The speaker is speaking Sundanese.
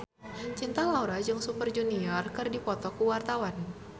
Cinta Laura jeung Super Junior keur dipoto ku wartawan